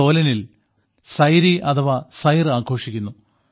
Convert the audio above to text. സോലനിൽ സൈരി അഥവാ സൈർ ആഘോഷിക്കുന്നു